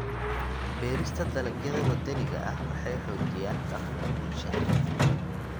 Beerista dalagyada waddaniga ah waxay xoojiyaan dhaqanka bulshada.